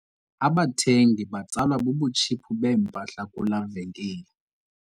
Abathengi batsalwa bubutshiphu bempahla kulaa venkile.